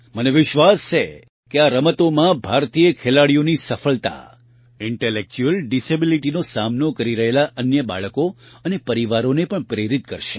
મને વિશ્વાસ છે કે આ રમતોમાં ભારતીય ખેલાડીઓની સફળતા ઇન્ટેલેક્ચ્યુઅલ ડીસેબીલીટીનો સામનો કરી રહેલા અન્ય બાળકો અને પરિવારોને પણ પ્રેરિત કરશે